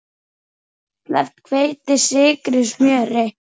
Sleppt hveiti, sykri, smjöri.